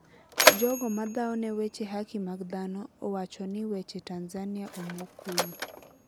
jogo madhaone weche haki mag dhano owahoni weche Tanzania omo kuyo.